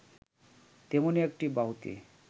তেমনি একটি বাহুতে